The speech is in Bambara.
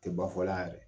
Tɛ ba fɔla a yɛrɛ